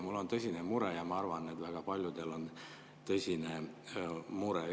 Mul on tõsine mure ja ma arvan, et väga paljudel on tõsine mure.